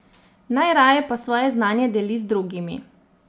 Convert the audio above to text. Najraje pa svoje znanje deli z drugimi.